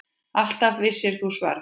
Alltaf vissir þú svarið.